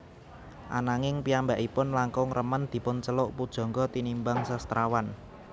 Ananging piyambakipun langkung remen dipunceluk pujangga tinimbang sastrawan